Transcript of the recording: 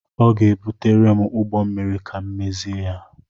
Ọ ga-ebutere m ụgbọ mmịrị ka m mezie ya.